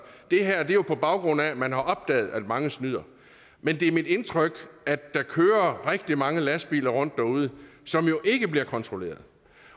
er jo på baggrund af at man har opdaget at mange snyder men det er mit indtryk at der kører rigtig mange lastbiler rundt derude som jo ikke bliver kontrolleret